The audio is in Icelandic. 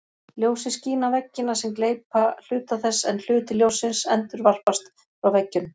Ljósið skín á veggina sem gleypa hluta þess en hluti ljóssins endurvarpast frá veggjunum.